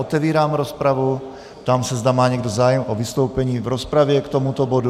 Otevírám rozpravu, ptám se, zda má někdo zájem o vystoupení v rozpravě k tomuto bodu.